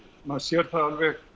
maður sér það alveg